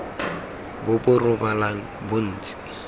bo bo rebolang bo ntse